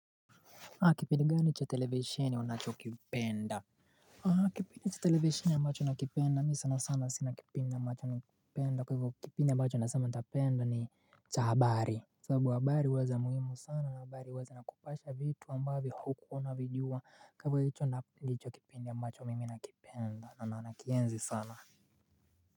Kipindi gani cha televisheni unachokipenda? Kipindi cha televisheni ambacho nakipenda mi sana sana sina kipindi ambacho nakipenda kwa hivyo kipindi ambacho naeza sema nitapenda ni cha habari. Sababu habari huwa za muhimu sana na habari huwa zinakupasha vitu ambavyo hukuwa unavijua kwa hivyo hicho na ndicho kipindi ambacho mimi nakipenda na nakienzi sana.